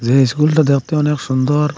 এই স্কুলটা দেখতে অনেক সুন্দর।